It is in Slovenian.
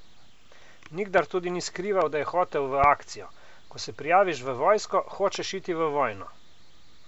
Nikdar tudi ni skrival, da je hotel v akcijo: "Ko se prijaviš v vojsko, hočeš iti v vojno.